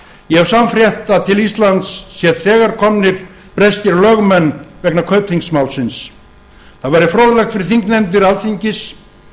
ég hef sannfrétt að til íslands sé þegar komnir breskir lögmenn vegna kaupþingsmálsins það væri fróðlegt fyrir þingnefndir alþingis